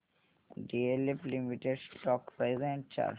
DLF limited stock price and chart